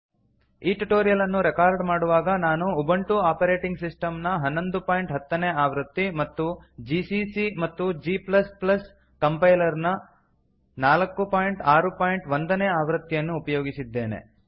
ಈ ಟ್ಯುಟೋರಿಯಲ್ ಅನ್ನು ರೆಕಾರ್ಡ್ ಮಾಡುವಾಗ ನಾನು ಉಬುಂಟು ಆಪರೇಟಿಂಗ್ ಸಿಸ್ಟಮ್ ನ 1110 ನೇ ಆವೃತ್ತಿ ಮತ್ತು ಜಿಸಿಸಿ ಮತ್ತು g ಕಂಪೈಲರ್ ನ 461 ನೇ ಆವೃತ್ತಿಯನ್ನು ಉಪಯೋಗಿಸಿದ್ದೇನೆ